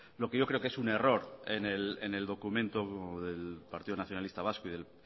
lo que yo creo que es un error en el documento del partido nacionalista vasco y del